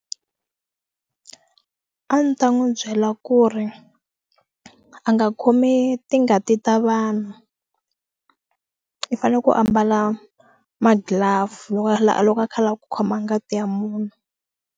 A ni ta n'wi byela ku ri a nga khomi tingati ta vanhu i fanele ku ambala ma glove loko a lava loko a kha a lava ku khoma ngati ya munhu.